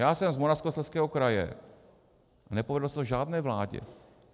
Já jsem z Moravskoslezského kraje a nepovedlo se to žádné vládě.